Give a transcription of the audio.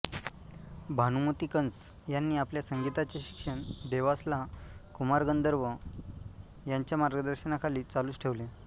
भानुमती कंस यांनी आपल्या संगीताचे शिक्षण देवासला कुमार गंधर्व यांच्या मार्गदर्शनाखाली चालूच ठेवले